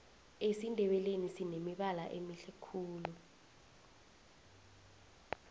esindebeleni sinemibala emihle khulu